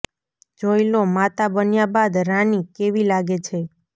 જોઈ લો માતા બન્યા બાદ રાની કેવી લાગે છે